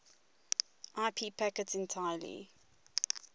ip packets entirely